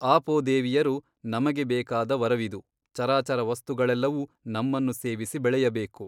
ಆಪೋದೇವಿಯರು ನಮಗೆ ಬೇಕಾದ ವರವಿದು ಚರಾಚರ ವಸ್ತುಗಳೆಲ್ಲವೂ ನಮ್ಮನ್ನು ಸೇವಿಸಿ ಬೆಳೆಯಬೇಕು.